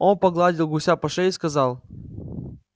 он погладил гуся по шее и сказал